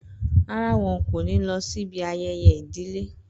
Rárá, wọn kò ní lọ sí ibi ayẹyẹ ìdílé